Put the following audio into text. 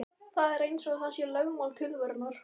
Það er eins og það sé lögmál tilverunnar.